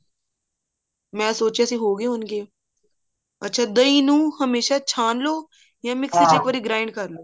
ਮੈਂ ਸੋਚਿਆ ਸੀ ਹੋਗੇ ਹੋਣਗੇ ਅੱਛਾ ਦਹੀਂ ਨੂੰ ਹਮੇਸ਼ਾ ਛਾਂਣ ਲੋ ਇੱਕ ਵਾਰੀ grind ਕਰਲੋ